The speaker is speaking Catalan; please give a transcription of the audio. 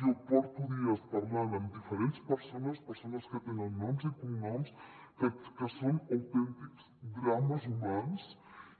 jo porto dies parlant amb diferents persones persones que tenen noms i cognoms que són autèntics drames humans